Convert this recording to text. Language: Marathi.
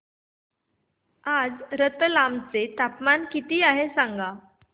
आज रतलाम चे तापमान किती आहे सांगा